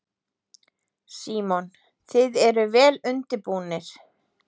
Símon: Þið eruð vel undirbúnir?